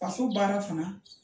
Faso baara fana